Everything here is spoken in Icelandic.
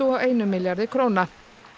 og einum milljarði króna